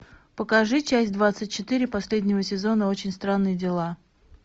покажи часть двадцать четыре последнего сезона очень странные дела